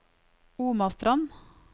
Omastrand